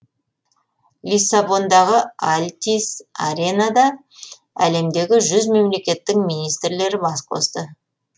лиссабондағы альтис аренада әлемдегі жүз мемлекеттің министрлері бас қосты